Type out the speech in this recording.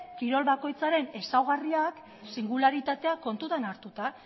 kirol bakoitzaren ezaugarriak singularitateak kontutan hartuta